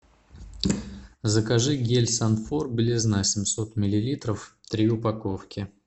закажи гель санфор белизна семьсот миллилитров три упаковки